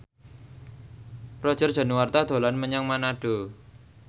Roger Danuarta dolan menyang Manado